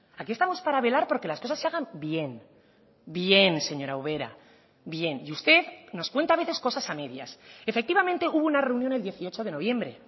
aquí estamos para velar por que las cosas se hagan bien bien señora ubera bien y usted nos cuenta a veces cosas a medias efectivamente hubo una reunión el dieciocho de noviembre